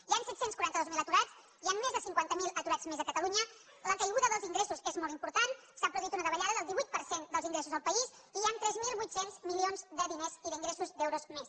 hi han set cents i quaranta dos mil aturats hi han més de cinquanta miler aturats més a catalunya la caiguda dels ingressos és molt important s’ha produït una davallada del divuit per cent dels ingressos al país i hi han tres mil vuit cents milions de diners i d’ingressos d’euros més